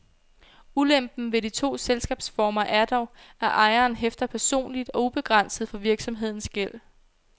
Ulempen ved de to selskabsformer er dog, at ejeren hæfter personligt og ubegrænset for virksomhedens gæld.